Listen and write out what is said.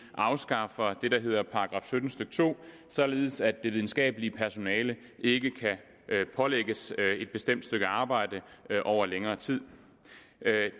afskaffer det der hedder § sytten stykke to således at det videnskabelige personale ikke kan pålægges et bestemt stykke arbejde over længere tid